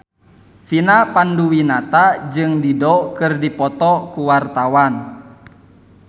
Vina Panduwinata jeung Dido keur dipoto ku wartawan